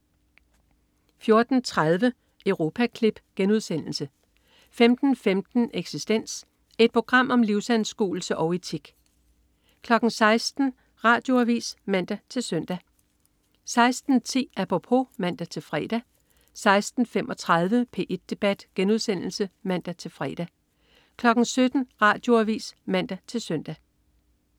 14.30 Europaklip* 15.15 Eksistens. Et program om livsanskuelse og etik 16.00 Radioavis (man-søn) 16.10 Apropos (man-fre) 16.35 P1 debat* (man-fre) 17.00 Radioavis (man-søn)